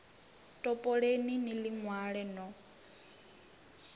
topoleni ni ḽi ṅwale no